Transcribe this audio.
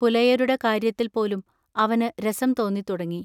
പുലയരുടെ കാൎയ്യത്തിൽ പോലും അവനു രസം തോന്നിത്തുടങ്ങി.